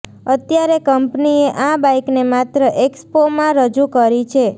અત્યારે કંપનીએ આ બાઈકને માત્ર એક્સપોમાં રજૂ કરી છે